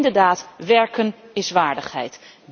Want inderdaad, werken is waardigheid.